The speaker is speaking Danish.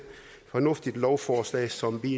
fornuftigt lovforslag som vi